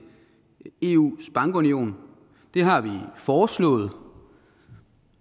eus bankunion det har vi foreslået